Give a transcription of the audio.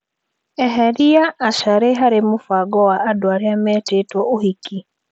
Eheria Asharĩ harĩ mũbango wa andũ arĩa metĩtwo ũhiki.